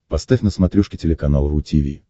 поставь на смотрешке телеканал ру ти ви